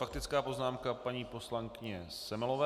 Faktická poznámka paní poslankyně Semelové.